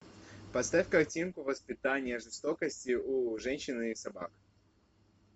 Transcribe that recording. поставь картинку воспитание жестокости у женщин и собак